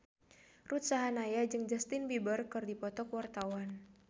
Ruth Sahanaya jeung Justin Beiber keur dipoto ku wartawan